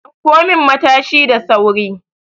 Dauko min Matashi da sauri!